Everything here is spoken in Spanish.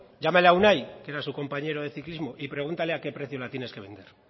llámale a unai que era su compañero de ciclismo y pregúntale a qué precio la tienes que vender